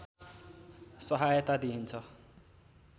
सहायता दिइन्छ